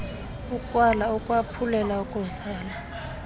ukwala ukwaphulela kuzala